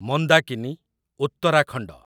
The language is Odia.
ମନ୍ଦାକିନୀ, ଉତ୍ତରାଖଣ୍ଡ